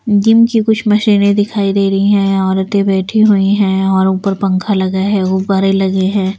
Gym की कुछ मशीनें दिखाई दे रही हैं औरतें बैठी हुई हैंऔर ऊपर पंखा लगा है गुब्बारे लगे हैं।